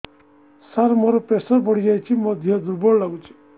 ସାର ମୋର ପ୍ରେସର ବଢ଼ିଯାଇଛି ମୋ ଦିହ ଦୁର୍ବଳ ଲାଗୁଚି